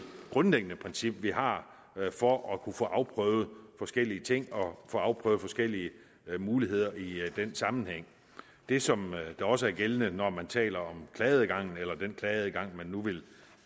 grundlæggende princip vi har for at kunne få afprøvet forskellige ting og få afprøvet forskellige muligheder i den sammenhæng det som der også er gældende når man taler om klageadgangen eller den klageadgang man nu vil